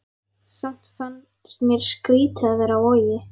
Samt fannst mér skrýtið að vera á Vogi.